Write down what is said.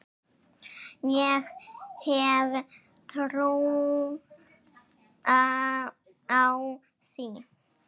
Ég hef trú á því.